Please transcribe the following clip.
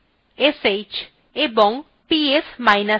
bash sh এবং psf